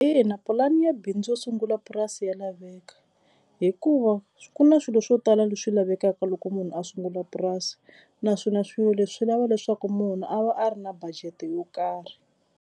Ina, pulani ya bindzu yo sungula purasi ya laveka hikuva ku na swilo swo tala leswi lavekaka loko munhu a sungula purasi naswona swilo leswi swi lava leswaku munhu a va a ri na budget yo karhi.